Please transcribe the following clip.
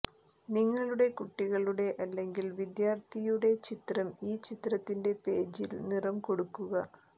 നിങ്ങളുടെ കുട്ടികളുടെ അല്ലെങ്കിൽ വിദ്യാർത്ഥിയുടെ ചിത്രം ഈ ചിത്രത്തിന്റെ പേജിൽ നിറം കൊടുക്കുക